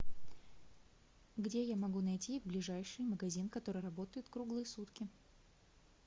где я могу найти ближайший магазин который работает круглые сутки